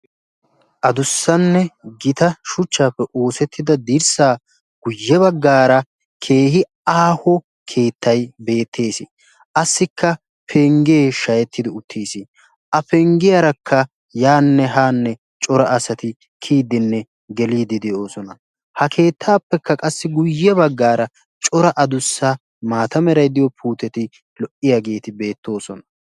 adussanne gita shuchchaappe oosettida dirssaa guyye baggaara keehi aaho keettai beettees assikka penggee shahettidi uttiis a penggiyaarakka yaanne haanne cora asati kiyiddinne geliidi de'oosona ha keettaappekka qassi guyye baggaara cora adussa maata meray diyo puuteti lo''iyaageeti beettoosona